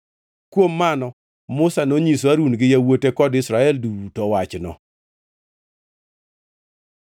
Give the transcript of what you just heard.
Kuom mano Musa nonyiso Harun gi yawuote kod jo-Israel duto wachno.